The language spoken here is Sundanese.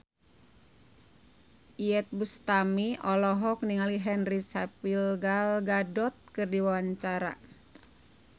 Iyeth Bustami olohok ningali Henry Cavill Gal Gadot keur diwawancara